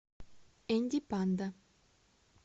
энди панда